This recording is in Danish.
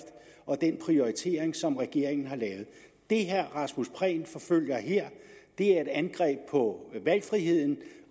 og den prioritering som regeringen har lavet det herre rasmus prehn forfølger her er et angreb på valgfriheden